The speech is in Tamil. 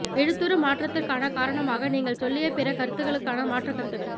எழுத்துரு மாற்றத்துக்கான காரணமாக நீங்கள் சொல்லிய பிற கருத்துக்களுக்கான மாற்றுக் கருத்துகள்